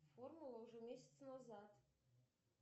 формула уже месяц назад